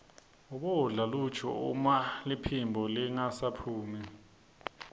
ubodla luju uma liphimbo lingasaphumi